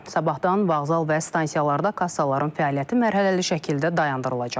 Sabahtan vağzal və stansiyalarda kassaların fəaliyyəti mərhələli şəkildə dayandırılacaq.